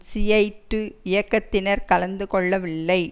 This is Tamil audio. ஷியைட்டு இயக்கத்தினர் கலந்து கொள்ளவில்லை